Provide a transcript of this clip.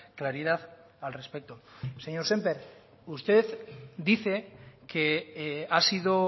claridad al respecto señor sémper usted dice que ha sido